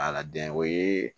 Ala den o ye